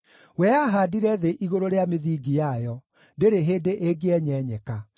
We aahaandire thĩ igũrũ rĩa mĩthingi yayo; ndĩrĩ hĩndĩ ĩngĩenyenyeka.